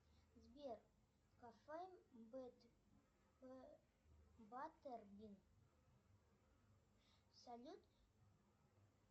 сбер кафе баттербин салют